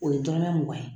O ye dɔrɔmɛ mugan ye